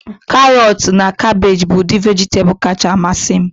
Karọtu na kabeeji bụ udi vejitabulu kacha amasị m